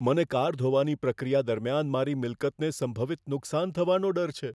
મને કાર ધોવાની પ્રક્રિયા દરમિયાન મારી મિલકતને સંભવિત નુકસાન થવાનો ડર છે.